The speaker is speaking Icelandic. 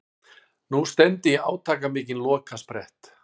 Nú stefndi í átakamikinn lokasprett.